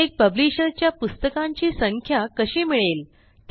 प्रत्येक पब्लिशर च्या पुस्तकांची संख्या कशी मिळेल